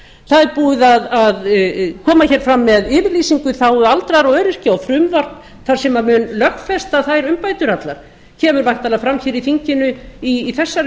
það er búið að koma fram með yfirlýsingu í þágu aldraðra og öryrkja og frumvarp sem mun lögfesta þær umbætur allar kemur væntanlega fram í þinginu í þessari